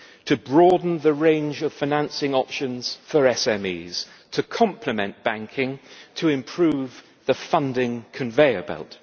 to broaden the range of financing options for SMEs, to complement banking, and to improve the funding conveyor belt.